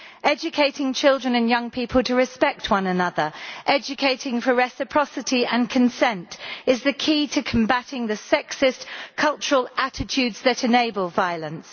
Educating children and young people to respect one another, educating for reciprocity and consent, is the key to combating the sexist cultural attitudes that enable violence.